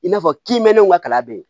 I n'a fɔ kiniminɛnw ka kalan bɛ yen